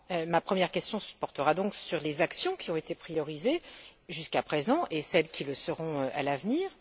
Ma première question portera donc sur les actions qui ont été privilégiées jusqu'à présent, et celles qui le seront à l'avenir.